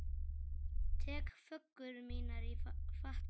Tek föggur mínar í fatla.